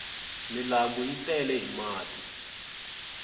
milambu yi tele hi mati